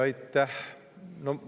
Aitäh!